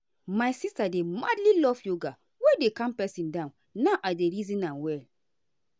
my sister dey madly love yoga wey dey calm person down now i dey reason am well.